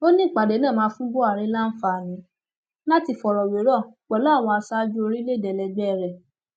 ó ní ìpàdé náà máa fún buhari láǹfààní láti fọrọ wérọ pẹlú àwọn aṣáájú orílẹèdè ẹlẹgbẹ rẹ